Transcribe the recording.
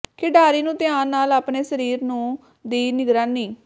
ਖਿਡਾਰੀ ਨੂੰ ਧਿਆਨ ਨਾਲ ਆਪਣੇ ਸਰੀਰ ਨੂੰ ਦੀ ਨਿਗਰਾਨੀ